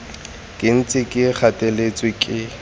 ke ntse ke gateletswe ke